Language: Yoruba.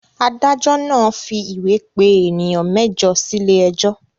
Adájọ́ náà fi ìwé pè ènìyàn mẹ́jọ sílé ẹjọ́.